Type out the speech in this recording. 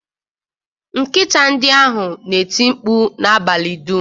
Nkịta ndị ahụ na-eti mkpu n'abalị dum